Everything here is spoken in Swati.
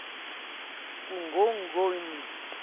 kungongoni